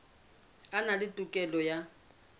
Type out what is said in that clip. a na le tokelo ya